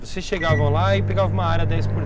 Vocês chegavam lá e pegavam uma área dez por